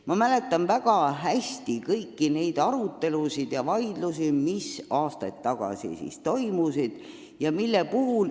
Ma mäletan väga hästi kõiki neid arutelusid ja vaidlusi, mis siis, aastaid tagasi toimusid.